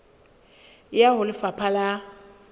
e ya ho lefapha la